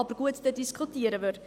Aber gut, dann diskutieren wir.